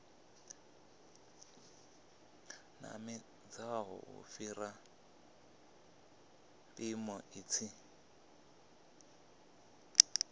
namedzaho u fhira mpimo tshi